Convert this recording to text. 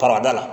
Farada la